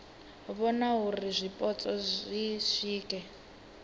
vhona uri zwipotso zwi swike